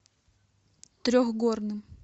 трехгорным